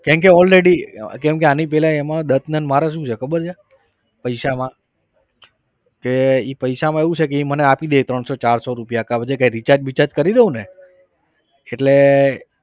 કેમ કે already કેમ કે આની પહેલા એમાં દત્તને અને મારે શું છે ખબર છે? પૈસામાં કે એ પૈસામાં એવું છે કે એ મને આપી દે ત્રણસો ચારસો રૂપિયા પછી કઈ recharge બીચાર્જ કરી દઉંને એટલે